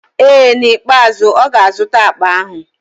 Ee, n'ikpeazụ ọ ga-azụta akpa ahụ.